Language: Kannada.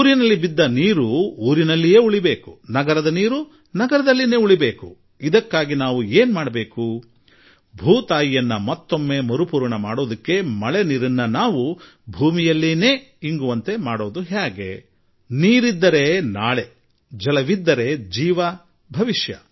ಗ್ರಾಮದ ನೀರು ಗ್ರಾಮಕ್ಕೆ ನಗರದ ನೀರು ನಗರಕ್ಕೆ ನಾವು ಹೇಗೆ ತಡೆ ಹಿಡಿದಿಟ್ಟುಕೊಳ್ಳಬಹುದು ಎಷ್ಟಾದರೂ ನೀರು ಜೀವನಾಧಾರ